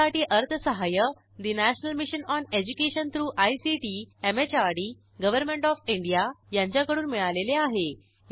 यासाठी अर्थसहाय्य national mission on education through ICT MHRD government of India यांच्याकडून मिळालेले आहे